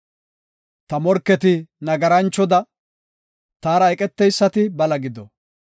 “Ta morketi nagaranchoda, taara eqeteysati bala gido.